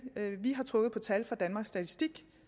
vi har trukket på tal fra danmarks statistik